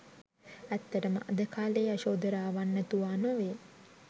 ඇත්තටම අද කාලෙ යශෝධරාවන් නැතුවා නොවේ